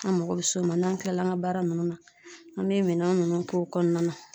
An mago bɛ s'o ma n'an kilala an ka baara ninnu na , an bɛ minɛn ninnu k'o kɔnɔna .na